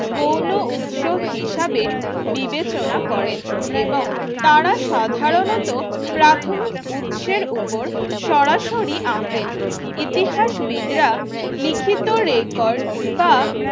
গৌণ উৎস হিসাবে বিবেচনা করেন এবং তারা সাধারণত প্রাথমিক উৎসের উপর সরাসরি আঁকেন ইতিহাসবিদরা লিখিত রেকর্ড বা